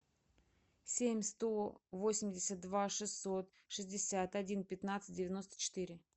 семь сто восемьдесят два шестьсот шестьдесят один пятнадцать девяносто четыре